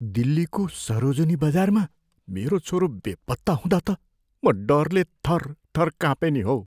दिल्लीको सरोजिनी बजारमा मेरो छोरो बेपत्ता हुँदा त म डरले थरथर कापेँ नि हौ।